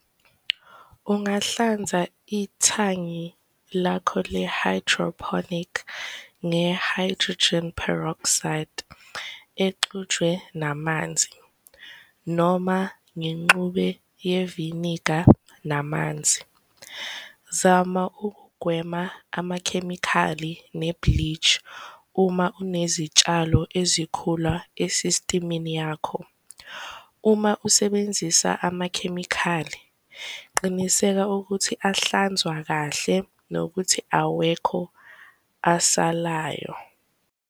Ungahlanza ithangi lakho le-hydroponic nge-hydrogen peroxide exutshwe namanzi noma ngenxube yeviniga namanzi. Zama ukugwema amakhemikhali ne-bleach uma unezitshalo ezikhula e-system-ini yakho. Uma usebenzisa amakhemikhali, qiniseka ukuthi ahlanzwa kahle nokuthi awekho asalayo.